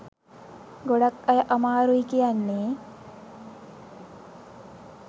ගොඩාක් අය අමාරුයි කියන්නේ